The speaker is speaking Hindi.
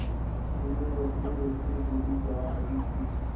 मीनू रोतेरोते बोली जा रही थी